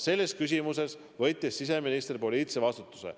Selles küsimuses võttis siseminister poliitilise vastutuse.